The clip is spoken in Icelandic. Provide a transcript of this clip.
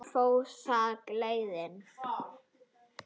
Hvert fór þá gleðin?